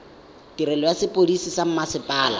tirelo ya sepodisi sa mmasepala